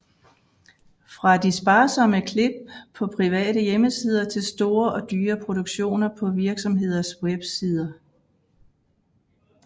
Fra de sparsomme klip på private hjemmesider til store og dyre produktioner på virksomheders websideer